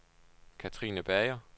Katrine Bager